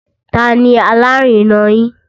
Ta ni alárinà yín?